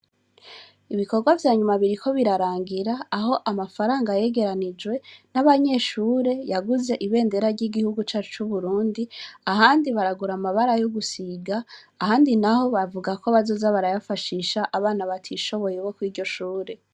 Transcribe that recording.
Ibikorwa vyanyuma biriko birarangira aho amafaranga yegeranijwe n'abanyeshure yaguze ibendera ry'igihugu ca c'uburundi ahandi baragura amabara yougusiga ahandi na ho bavuga ko bazoza barayafashisha abana batishoboye iboko iryo shure.